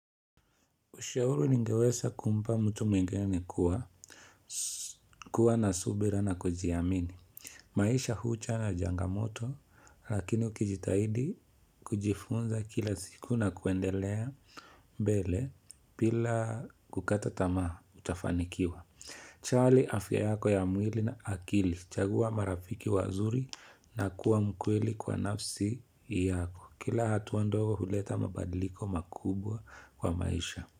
Ushauru ningeweza kumpa mtu mwingene kuwa, kuwa na subira na kujiamini. Maisha huu chana jangamoto, lakini ukijitahidi kujifunza kila siku na kuendelea mbele, pila kukata tamaha, utafanikiwa. Charlie afya yako ya mwili na akili, chagua marafiki wazuri na kuwa mkwili kwa nafsi yako. Kila hatuwa ndogo huleta mabadiliko makubwa kwa maisha.